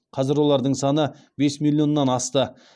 қазір олардың саны бес миллионнан асты